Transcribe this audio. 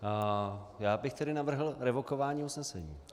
Já bych tedy navrhl revokování usnesení.